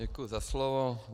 Děkuji za slovo.